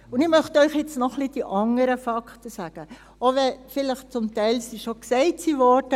Und ich möchte Ihnen jetzt noch die anderen Fakten sagen, auch wenn sie vielleicht zum Teil schon gesagt wurden.